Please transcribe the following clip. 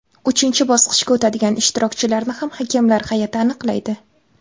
Uchinchi bosqichga o‘tadigan ishtirokchilarni ham hakamlar hay’ati aniqlaydi.